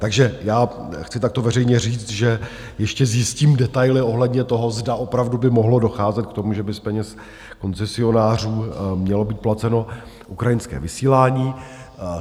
Takže já chci takto veřejně říct, že ještě zjistím detaily ohledně toho, zda opravdu by mohlo docházet k tomu, že by z peněz koncesionářů mělo být placeno ukrajinské vysílání.